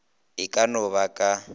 e ka no ba ka